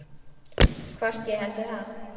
Hvort ég héldi það?